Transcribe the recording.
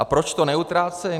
A proč to neutrácejí?